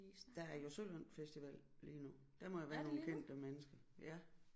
Der er jo Sølund festival lige nu der må jo være nogle kendte mennesker ja